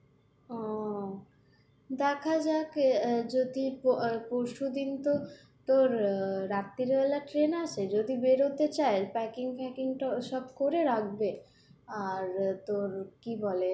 আহ দেখাযাক যদি পরশুদিন তো তোর রাত্রিবেলা ট্রেন আছে যদি বেরোতে চাই packing ফ্যাকিং তো সব করে রাখবে আর তোর কি বলে, "